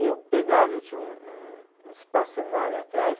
Eu pegava, eu tinha um, um, um espaço enorme atrás.